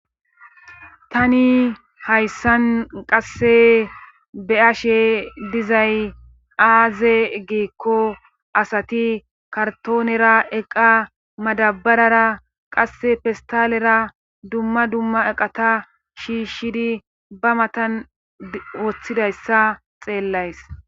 Tani hayssan qasse be ashe dizay aaze giekko asati kartoonera eqa madabarara qasse fistalera dumma dumma eqata shiishshidi ba matan woththidayssa xeellays.